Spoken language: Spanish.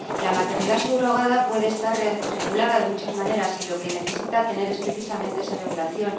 La maternidad subrogada puede estar regulada de muchas maneras y lo que necesita tener es, precisamente, esa regulación.